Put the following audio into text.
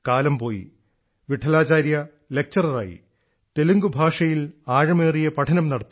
കാലം പോയി വിഠലാചാര്യ ലക്ചററായി തെലുങ്ക് ഭാഷയിൽ ആഴമേറിയ പഠനം നടത്തി